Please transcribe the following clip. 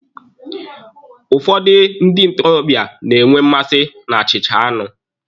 Ụfọdụ ndị ntorobịa na-enwe mmasi na achịcha anụ.